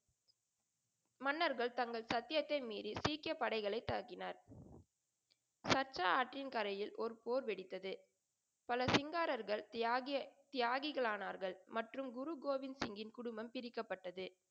மன்னர்கள் தங்கள் சத்தியத்தை மீறி சீக்கிய படைகளைத் தாக்கினார். சற்றா ஆற்றின் கரையில் ஒரு போர் வெடித்தது. பல சிங்காரர்கள் தியாகி, தியாகிகள் ஆனார்கள். மற்றும் குரு கோவிந்த்சிங்யின் குடும்பம் பிரிக்கப்பட்டது.